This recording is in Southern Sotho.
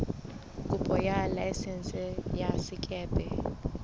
kopo ya laesense ya sekepe